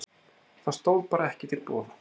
Það stóð bara ekki til boða